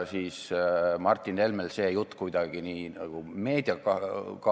Istungi lõpp kell 17.48.